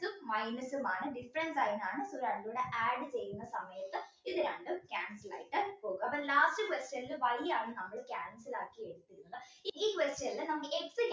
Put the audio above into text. minus ആണ് difference അതുപോലെ add ചെയ്യുന്ന സമയത്ത് ഇത് രണ്ടും cancel ആയിട്ട് പോകും അപ്പോൾ എന്താ last question ൽ Y ആണ് നമ്മള് cancel ആക്കി question ൽ നമുക്ക്